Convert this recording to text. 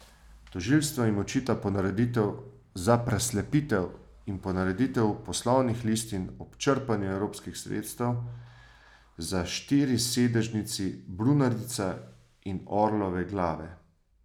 Tožilstvo jim očita ponareditev za preslepitev in ponareditev poslovnih listin ob črpanju evropskih sredstev za štirisedežnici Brunarica in Orlove glave.